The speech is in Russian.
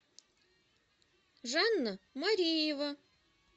жанна мариева